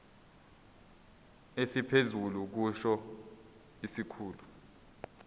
esiphezulu kusho isikhulu